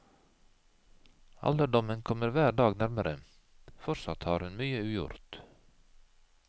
Alderdommen kommer hver dag nærmere, fortsatt har hun mye ugjort.